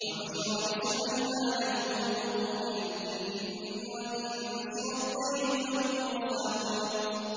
وَحُشِرَ لِسُلَيْمَانَ جُنُودُهُ مِنَ الْجِنِّ وَالْإِنسِ وَالطَّيْرِ فَهُمْ يُوزَعُونَ